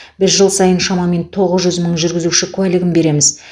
біз жыл сайын шамамен тоғыз жүз мың жүргізуші куәлігін береміз